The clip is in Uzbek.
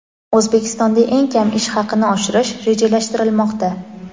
O‘zbekistonda eng kam ish haqini oshirish rejalashtirilmoqda.